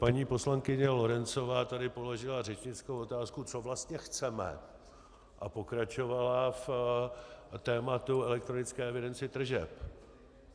Paní poslankyně Lorencová tady položila řečnickou otázku, co vlastně chceme, a pokračovala v tématu elektronické evidence tržeb.